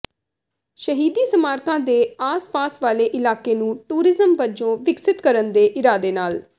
ਸ਼ਹੀਦੀ ਸਮਾਰਕਾਂ ਦੇ ਆਸ ਪਾਸ ਵਾਲੇ ਇਲਾਕੇ ਨੂੰ ਟੂਰਿਜ਼ਮ ਵਜੋਂ ਵਿਕਸਿਤ ਕਰਨ ਦੇ ਇਰਾਦੇ ਨਾਲ